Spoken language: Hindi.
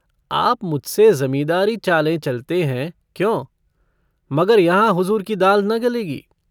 आबदी - आप मुझसे ज़मींदारी चालें चलते हैं, क्यों? मगर यहाँ हुज़ूर की दाल न गलेगी।